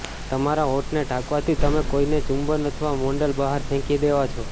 તમારા હોઠને ઢાંકવાથી તમે કોઇને ચુંબન અથવા મોન્ડલ બહાર ફેંકી દેવા છો